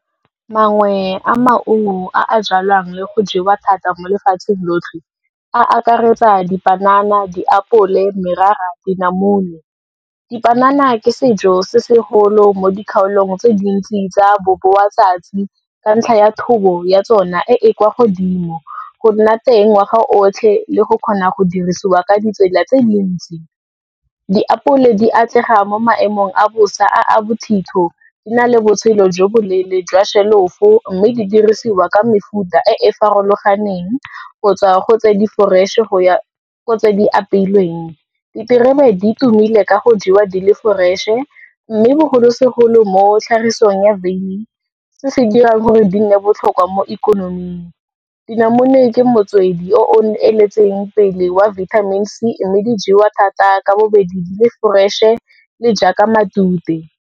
Mangwe a maungo a a jalwang le go jewa thata mo lefatsheng lotlhe, a akaretsa dipanana, diapole, merara, dinamune. Dipanana ke sejo se segolo mo dikgaolong tse dintsi tsa boboatsatsi ka ntlha ya thobo ya tsona e e kwa godimo, go nna teng ngwaga otlhe le go kgona go dirisiwa ka ditsela tse dintsi. Diapole di atlega mo maemong a bosa a a bothitho, di na le botshelo jo boleele jwa shelofo, mme di dirisiwa ka mefuta e e farologaneng, go tswa go tse di-fresh-e, go tse di apeilweng. Diterebe di tumile ka go jewa di le fresh-e, mme bogolosegolo mo tlhagisong ya veine, se se dirang gore di nne botlhokwa mo ikonoming. Dinamune ke motswedi o o eteletseng pele wa vitamin C, mme di jewa thata ka bobedi di le fresh-e le jaaka matute.